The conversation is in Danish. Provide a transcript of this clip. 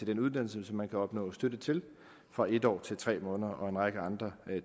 den uddannelse som man kan opnå støtte til fra en år til tre måneder er en række andre